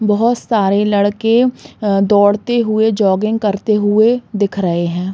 बोहोत सारें लड़के अ दौड़ते हुए जोगिंग करतें हुए दिख रहें हैं।